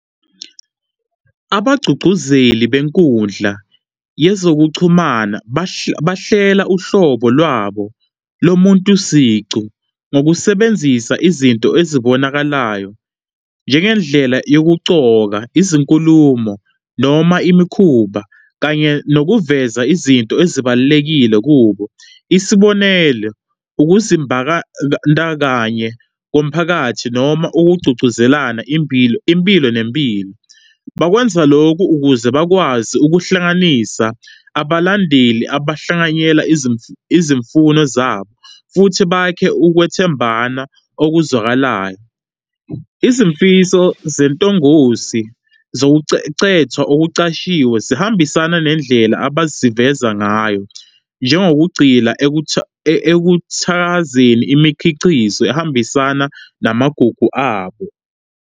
Abagqugquzeli benkundla yezokuchumana bahlela uhlobo lwabo lomuntu siqu ngokusebenzisa izinto ezibonakalayo, njengendlela yokucoka, izinkulumo, noma imikhuba kanye nokuveza izinto ezibalulekile kubo, isibonelo, ukuzimbakandakanye komphakathi noma ukugqugquzelana impilo nempilo. Bakwenza lokhu ukuze bakwazi ukuhlanganisa abalandeli abahlanganyela izimfuno zabo futhi bakhe ukwethembana okuzwakalayo. Izimfiso zentongosi zokucecethwa okucashiwe zihambisana nendlela abazivezayo ngayo, njengokugcila ekuthakazeni imikhicizo ehambisana namagugu abo.